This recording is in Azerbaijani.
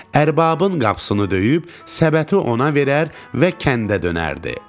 Ərbabın qapısını döyüb səbəti ona verər və kəndə dönərdi.